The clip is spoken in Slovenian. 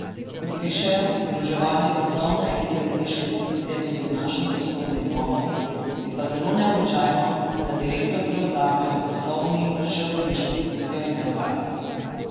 Kot pišejo, združevanje poslovne in uredniške funkcije tudi v našem prostoru ni novo, je pa zelo neobičajno, da direktor prevzame ob poslovni še uredniško funkcijo in ne obratno.